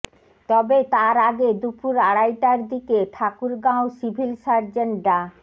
তবে তার আগে দুপুর আড়াইটার দিকে ঠাকুরগাঁও সিভিল সার্জন ডা